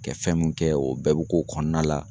Kɛ fɛn mun kɛ o bɛɛ be k'o kɔnɔna la